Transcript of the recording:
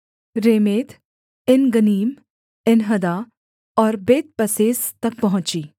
रेमेत Engannim Enhaddah और Bethpazzez तक पहुँची